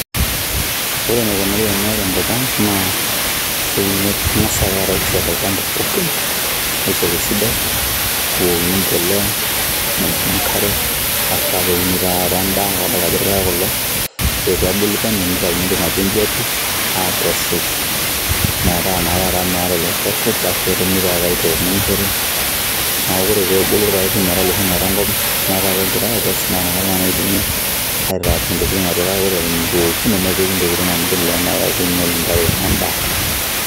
Ore eneikunari ena tenkop ang',naa keuni keng'asai ake taata ai fyeka olchamba pookin, ai fyeka esidai, nebukokini empolea, nepiki enkare, basi pakeuni ta taata endaa, kadalta ajo irpaek kulo. Ore pebulu penyo, nitauni entoki naji ejiati, akesu metaa na taata meeta ilo chafu, basi netumi ta taata aitok nimishori, neku ore pebulu irpaek pi metaa loshi oing'ata enkop netaa kegirai akes, na nakata na idimi, aitaku intokiting atua, kake ore eton itu eoku, nemepiki intokiting amu kelelek na inyel intare endaa.